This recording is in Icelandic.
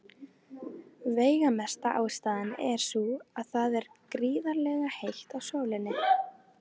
Veigamesta ástæðan er sú að það er gríðarlega heitt á sólinni.